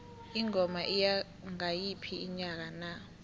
ingoma iya ngayiphi inyanga na